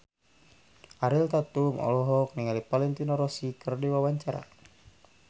Ariel Tatum olohok ningali Valentino Rossi keur diwawancara